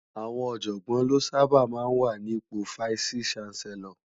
Awòn òjògbòn lò sàbá má wá ni ipó Fáìsí Ṣánsèlòr